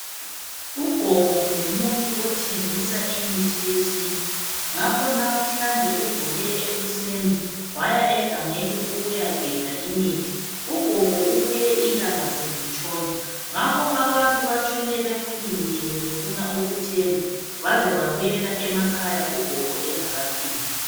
Ugogo ngumuntu othengisa imithi yesintu ngakho namuhlanje uvuke ekuseni waya egangeni ukuyagebha imithi. Ugogo ubuye ilanga selitshona ngakho abantu batshone bemulindile befunda ukuthenga baze babuyela emakhaya ugogo engakafiki.